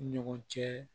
Ɲɔgɔn cɛ